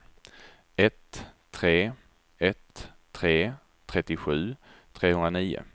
ett tre ett tre trettiosju trehundranio